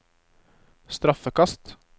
straffekast